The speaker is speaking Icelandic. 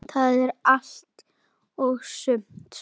Er það allt og sumt?